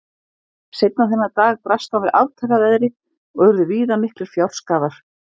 seinna þennan dag brast á með aftaka veðri og urðu víða miklir fjárskaðar